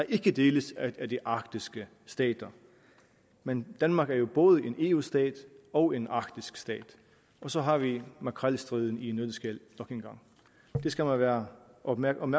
ikke deles af de arktiske stater men danmark er jo både en eu stat og en arktisk stat og så har vi makrelstriden i en nøddeskal nok engang det skal man være opmærksom